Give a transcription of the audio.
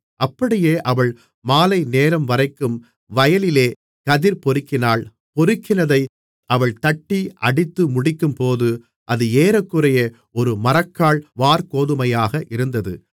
அப்படியே அவள் மாலைநேரம்வரைக்கும் வயலிலே கதிர் பொறுக்கினாள் பொறுக்கினதை அவள் தட்டி அடித்துமுடிக்கும்போது அது ஏறக்குறைய ஒரு மரக்கால் வாற்கோதுமையாக இருந்தது